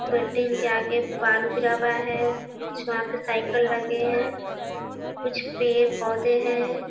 Building के आगे बालू गिरा हुआ हैं कुछ वहां पे साइकल लगे हैं कुछ पेड़-पौधे हैं।